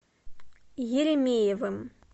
еремеевым